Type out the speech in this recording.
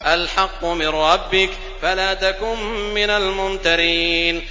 الْحَقُّ مِن رَّبِّكَ فَلَا تَكُن مِّنَ الْمُمْتَرِينَ